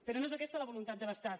però no és aquesta la voluntat de l’estat